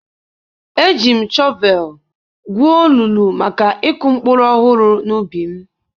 Eji m shọvel gwuo olulu maka ịkụ mkpụrụ ọhụrụ n'ubi m.